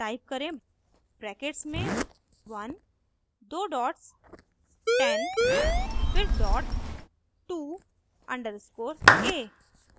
type करें brackets में 1 दो डॉट्स 10 फिर डॉट टू अंडरस्कोर a